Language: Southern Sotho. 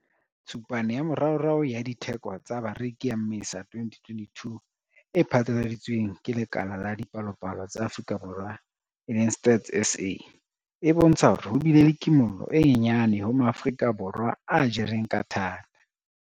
Tshupane ya moraorao ya Ditheko tsa Bareki ya Mmesa 2022 e phatlaladitsweng ke Lekala la Dipalopalo tsa Afrika Borwa, e leng, Stats SA, e bontsha hore ho bile le kimollo e nyenyane ho Maafrika Borwa a jereng ka thata.